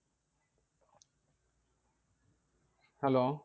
Hello